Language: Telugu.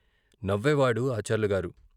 " నవ్వేవాడు ఆచార్లుగారు.